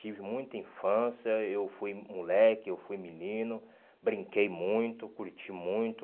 Tive muita infância, eu fui moleque, eu fui menino, brinquei muito, curti muito.